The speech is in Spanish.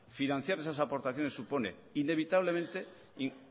financiar esas aportaciones supone inevitablemente